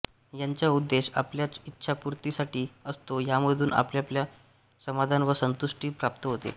याचा उद्देश आपल्या इच्छापूर्तीसाठी असतो यामधून आपल्याला समाधान व संतुष्टी प्राप्त होते